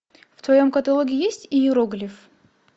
в твоем каталоге есть иероглиф